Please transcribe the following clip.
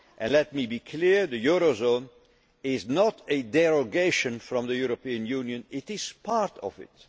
further. Let me be clear the eurozone is not a derogation from the European Union, it is part